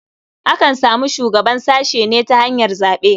Akan samu shugaban sashe ne ta hanyar zaɓe.